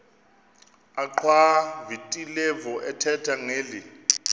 achwavitilevo ethetha ngeli